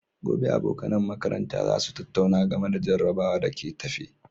Gobe, abokan makaranta za su tattauna game da jarrabawar da ke tafe.